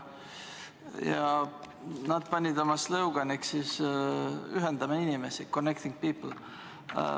Ja nad valisid oma slogan'iks "Ühendame inimesi" – "Connecting People".